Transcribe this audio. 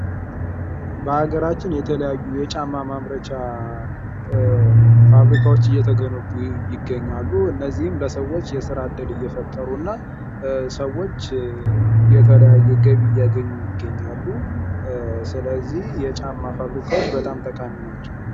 በሀገራችን የተለያዩ የጫማ ፋብሪካ እየተገነቡ ይገኛሉ እነዚህም ለሰዎች የስራ እድል የፈጠሩና ሰዎች የተለያየ ገቢ እያገኙ ይገኛሉ ስለዚህ የጫማ ፋብሪካዎች በጣም ጠቃሚ ናቸው።